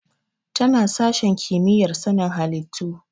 Tana sashen kimiyyar sanin halittu.